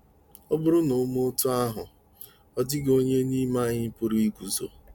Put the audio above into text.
Ọ bụrụ na o mee otú ahụ, ọ dịghị onye n’ime anyị pụrụ iguzo.